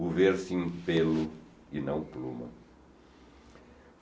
o ver-se em pelo e não pluma.